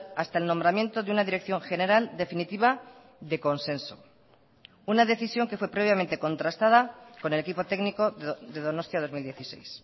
hasta el nombramiento de una dirección general definitiva de consenso una decisión que fue previamente contrastada con el equipo técnico de donostia dos mil dieciséis